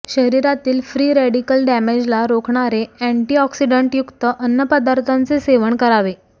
शरीरातील free radical डॅमेजला रोखणारे अॅन्टिऑक्सिडंटयुक्त अन्नपदार्थाचे सेवन करावे